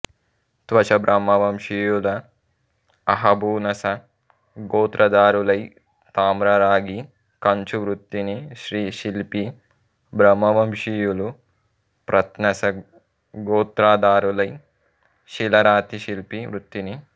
త్వషబ్రహ్మవంశీయుల అహభూనస గోత్రధారులై తామ్ర రాగి కంచు వృత్తిని శ్రీ శిల్పి బ్రహ్మవంశీయులు ప్రత్నస గోత్రధారులై శిల రాతిశిల్పి వృత్తిని